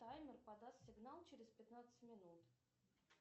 таймер подаст сигнал через пятнадцать минут